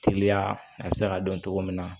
Teliya a bɛ se ka dɔn cogo min na